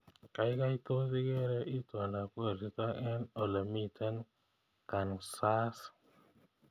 Gaigai toos igeere itondab koristo eng olemiten kansaas